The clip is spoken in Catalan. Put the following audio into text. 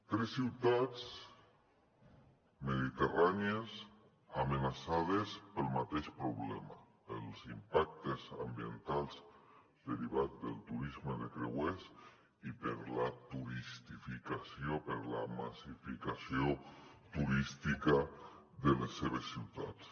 tres ciutats mediterrànies amenaçades pel mateix problema pels impactes ambientals derivats del turisme de creuers i per la turistificació per la massificació turística de les seves ciutats